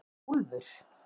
Úlfur